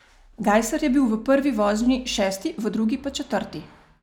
Gajser je bil v prvi vožnji šesti, v drugi pa četrti.